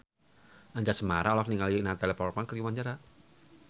Anjasmara olohok ningali Natalie Portman keur diwawancara